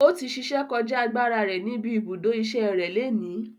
Ọtí ṣíṣe kọjá agbára rẹ níbi ibùdó ìṣe rẹ léni.